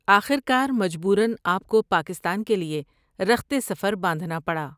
آخرکارمجبورآپ کوپاکستان کے لیے رخت سفرباندھنا پڑا ۔